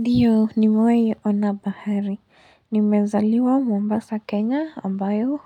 Ndio, ni mewai ona bahari. Nimezaliwa mombasa Kenya ambayo